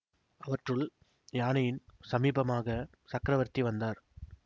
அவற்றுள் யானையின் சமீபமாகச் சக்கரவர்த்தி வந்தார்